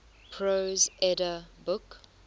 prose edda book